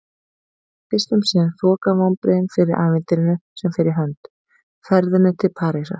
En fyrst um sinn þoka vonbrigðin fyrir ævintýrinu sem fer í hönd: ferðinni til Parísar.